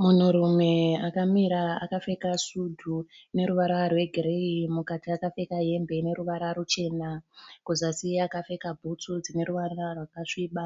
Munhurume akamira akapfeka sudhu ine ruvara rwegireyi. Mukati akapfeka hembe ine ruvara ruchena. Kuzasi akapfeka bhutsu dzine ruvara rwakasviba.